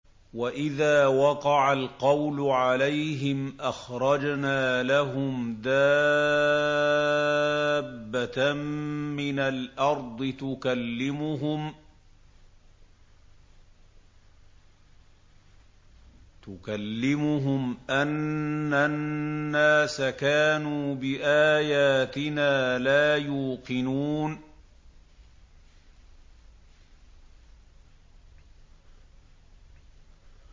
۞ وَإِذَا وَقَعَ الْقَوْلُ عَلَيْهِمْ أَخْرَجْنَا لَهُمْ دَابَّةً مِّنَ الْأَرْضِ تُكَلِّمُهُمْ أَنَّ النَّاسَ كَانُوا بِآيَاتِنَا لَا يُوقِنُونَ